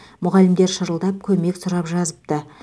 мұғалімдер шырылдап көмек сұрап жазыпты